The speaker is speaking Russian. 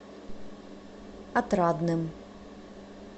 отрадным